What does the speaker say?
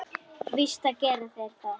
Víst gera þeir það!